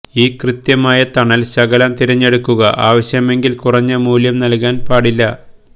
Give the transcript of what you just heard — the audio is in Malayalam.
ഇ കൃത്യമായ തണൽ ശകലം തിരഞ്ഞെടുക്കുക ആവശ്യമെങ്കിൽ കുറഞ്ഞ മൂല്യം നൽകാൻ പാടില്ല